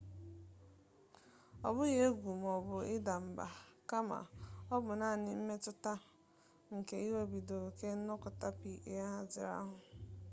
ọ bụghị egwu maọbụ ịda mba kama ọ bụ naanị mmetụta nke iwebiga ihe ọjọọ karịa oke ka nnọkọta pa ahaziri ahazi kwa izu na-akpata